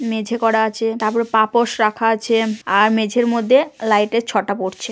মেঝে করা আছে তারপর পাপোশ রাখা আছে আর মেঝের মধ্যে লাইটের ছ টা পড়ছে।